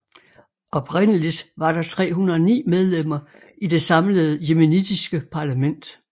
Oprindeligt var der 309 medlemmer i det samlede yemenitiske parlament